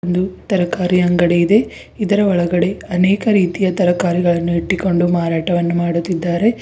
ಒಂದು ತರಕಾರಿ ಅಂಗಡಿ ಇದೆ ಇದರ ಒಳಗಡೆ ಅನೇಕ ತರಕಾರಿಗಳನ್ನು ಇಟ್ಟುಕೊಂಡು ಮಾರಾಟ ಮಾಡುತ್ತಿದ್ದಾರೆ.